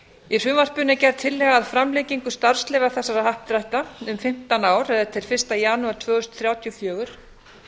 í frumvarpinu er gerð tillaga að framlengingu starfsleyfa þessara happdrætta um fimmtán ár eða til fyrsta janúar tvö þúsund þrjátíu og fjögur